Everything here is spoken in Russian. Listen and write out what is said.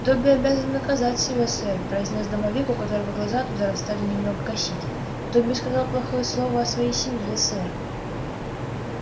добби обязан наказать себя сэр произнёс домовик у которого глаза от ударов стали немного косить добби сказал плохое слово о своей семье сэр